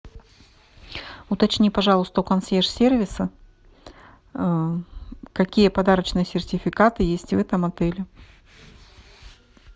уточни пожалуйста у консьерж сервиса какие подарочные сертификаты есть в этом отеле